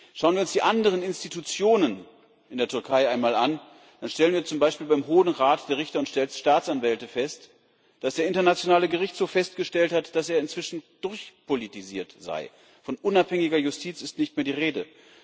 Schauen wir uns die anderen Institutionen in der Türkei einmal an, dann stellen wir zum Beispiel beim Hohen Rat der Richter und Staatsanwälte fest, dass der Internationale Gerichtshof festgestellt hat, dass er inzwischen durchpolitisiert sei von unabhängiger Justiz ist nicht mehr die Rede.